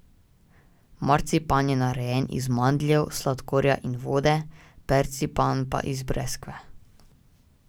Marcipan je narejen iz mandljev, sladkorja in vode, percipan pa iz breskve.